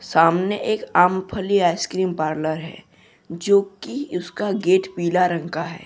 सामने एक आमफली आइसक्रीम पार्लर है जोकि उसका गेट पीला रंग का है।